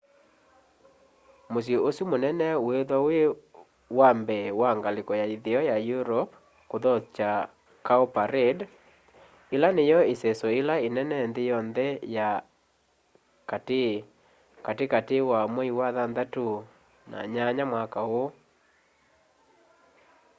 musyi usu munene wiithwa wi wa mbee wa ngaliko ya itheo ya europe kuthokya cowparade ila niyo iseso ila inene nthi yonthe ya ati kati kati wa mwei wa thanthatu na nyanya mwaka úú